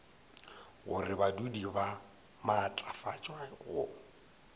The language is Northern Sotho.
gore badudi ba maatlafatšwe go